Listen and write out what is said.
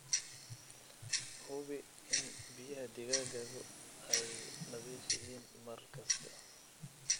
Hubi in biyaha digaaggaagu ay nadiif yihiin mar kasta.